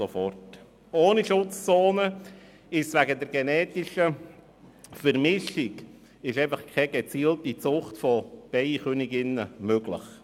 Ohne Schutzzonen ist eine gezielte Zucht von Bienenköniginnen wegen der genetischen Vermischung einfach nicht möglich.